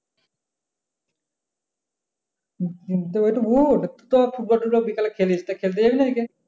উঠ তো ফুটবল তুথবল বিকালে খেলিস তো খেলতে যবি না আজকে?